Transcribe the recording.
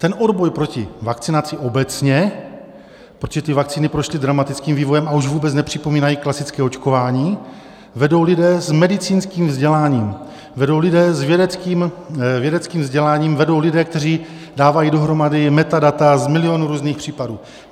Ten odboj proti vakcinaci obecně, protože ty vakcíny prošly dramatickým vývojem a už vůbec nepřipomínají klasické očkování, vedou lidé s medicínským vzděláním, vedou lidé s vědeckým vzděláním, vedou lidé, kteří dávají dohromady metadata z milionů různých případů.